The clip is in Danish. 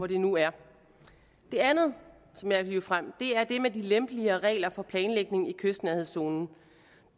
det nu er det andet som jeg vil hive frem er det med de lempeligere regler for planlægning i kystnærhedszonen